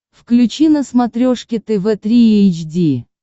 включи на смотрешке тв три эйч ди